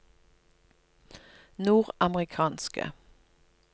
nordamerikanske